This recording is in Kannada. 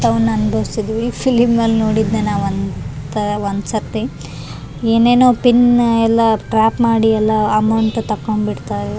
ಫಿಲಂ ನಲ್ಲಿ ನೋಡಿದ್ದೆ ಒಂದ್ ಸತಿ ಏನೆನೊ ಪಿನ್ ಎಲ್ಲ ಟ್ರ್ಯಾಪ್ ಮಾಡಿ ಎಲ್ಲ ಅಮೌಂಟ್ ತಕೊಂಡ್ ಬಿಡ್ತಾರ್.